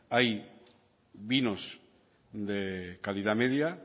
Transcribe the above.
hay vinos de calidad media